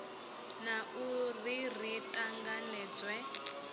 na u ri ri tanganedzwe